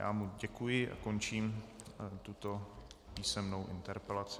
Já mu děkuji a končím tuto písemnou interpelaci.